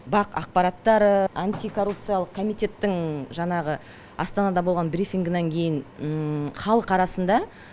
бақ ақпараттары антикоррупциялық комитеттің жанағы астанада болған брифингінан кейін халық арасында